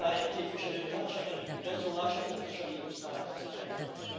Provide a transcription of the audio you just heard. Szájer képviselőtársam előbbi beszólása pontosan illusztrálta ezt a helyzetet.